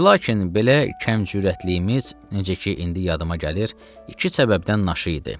Və lakin belə kəm cürətliyimiz, necə ki, indi yadıma gəlir, iki səbəbdən naşı idi.